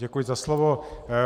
Děkuji za slovo.